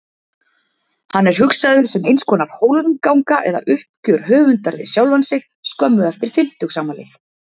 Hann er hugsaður sem einskonar hólmganga eða uppgjör höfundar við sjálfan sig skömmu eftir fimmtugsafmælið.